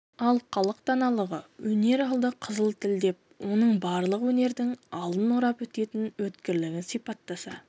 ал халық даналығы өнер алды қызыл тіл деп оның барлық өнердің алдын орап өтетін өткірлігін сипаттаса